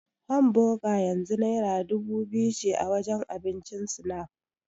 Hamboga yanzu naira dubu biyu ce a wajen abincin Snap.